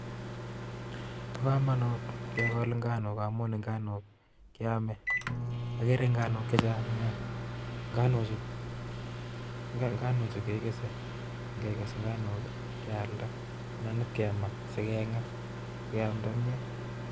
Bo komonut kegol inganuk, ngamun inganuk I kiome, agere nganuk chechang nia, nganuchu kekese, ak ingekes nganuk kealda anan kikonoor si kengaa si keamdaa kimyeet